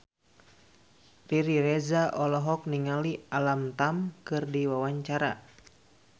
Riri Reza olohok ningali Alam Tam keur diwawancara